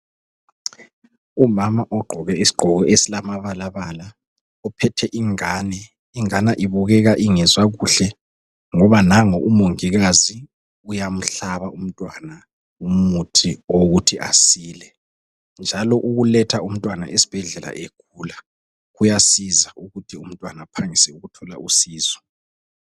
Umama ogqoke isigqoko esilamabalabala uphethe ingane. Ingane ibukeka ingezwa kuhle ngoba nangu umongikazi uyamhlaba umntwana umuthi wokuthi asile. Njalo ukuletha umntwana esibhedlela egula kuyasiza ukuthi umntwana aphangise ukuthola usizo.